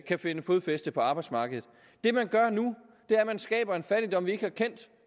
kan finde fodfæste på arbejdsmarkedet det man gør nu er at man skaber en fattigdom vi ikke har kendt